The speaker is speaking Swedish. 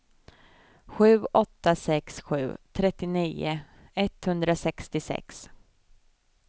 sju åtta sex sju trettionio etthundrasextiosex